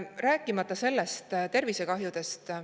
Rääkimata tervisekahjudest.